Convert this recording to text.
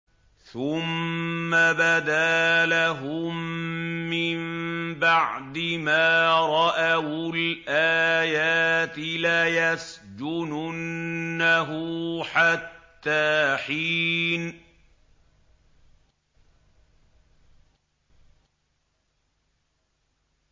ثُمَّ بَدَا لَهُم مِّن بَعْدِ مَا رَأَوُا الْآيَاتِ لَيَسْجُنُنَّهُ حَتَّىٰ حِينٍ